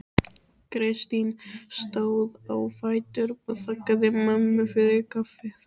Kristín stóð á fætur og þakkaði mömmu fyrir kaffið.